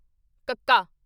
ਕੱਕਾ